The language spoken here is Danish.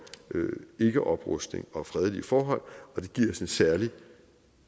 ikkeoprustning og fredelige forhold og det giver os et særligt